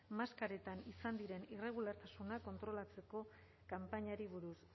maskaretan izan diren irregulartasunak kontrolatzeko kanpainari buruz